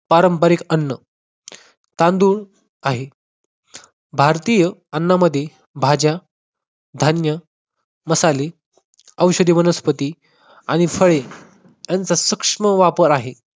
पारंपरिक अन्न. तांदूळ आहे. भारतीय अण्णांमध्ये भाज्या, धान्य, मसाले, औषधी वनस्पती आणि फळे यांचा सूक्ष्म वापर आहे.